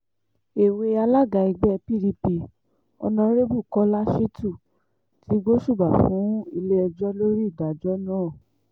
èwe alága ẹgbẹ́ pdp on arebu kọ́lá shitun ti gbósùbà fún ilé-ẹjọ́ lórí ìdájọ́ náà